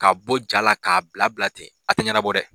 K'a bɔ ja la ten k'a bila bila ten a tɛ yɛnɛbɔ dɛ.